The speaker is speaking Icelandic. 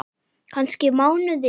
Kannski mánuði!